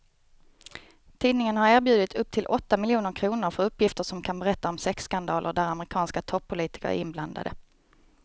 Tidningen har erbjudit upp till åtta miljoner kr för uppgifter som kan berätta om sexskandaler där amerikanska toppolitiker är inblandade.